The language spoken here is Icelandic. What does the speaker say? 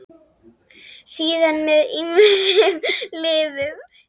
Síðar með ýmsum liðum.